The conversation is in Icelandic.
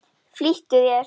Flýttu þér.